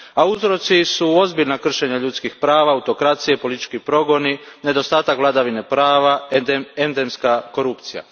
Uzroci su ozbiljna kršenja ljudskih prava, autokracije, politički progoni, nedostatak vladavine prava, endemska korupcija.